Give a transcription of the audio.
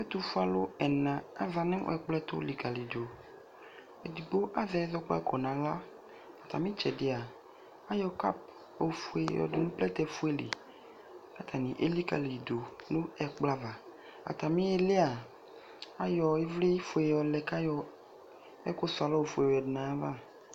Ɛtʋfue alʋ ɛna azã nʋ ɛkplɔtʋ likalidʋ Edigbo azɛ ɛzɔkpako n'aɣla, atamɩ ɩtsɛdɩ aa ayɔ cup ofue yɔ dʋ nʋ plɛtɛ fue li Atanɩ elikaliyi dʋ nʋ ɛkplɔ ava Atami iili a ayɔ ɩvlɩ fue yɔ lɛ k'ayɔ ɛfʋ sʋalɔ ofue yɔ yǝdu n'ayava